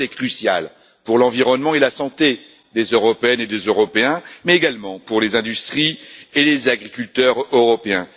Ce vote est crucial pour l'environnement et la santé des Européennes et des Européens, mais également pour les industries et les agriculteurs européens.